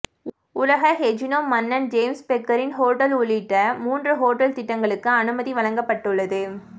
உலக கெசினோ மன்னன் ஜேம்ஸ் பெக்கரின் ஹோட்டல் உள்ளிட்ட மூன்று ஹோட்டல் திட்டங்களுக்கு அனுமதி வழங்கப்பட்டுள்ளது